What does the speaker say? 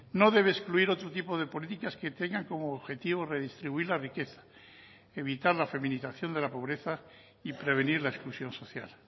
no debe excluir otro tipo de políticas que tengan como objetivo redistribuir la riqueza evitar la feminización de la pobreza y prevenir la exclusión social